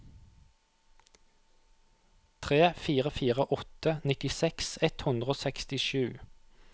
tre fire fire åtte nittiseks ett hundre og sekstisju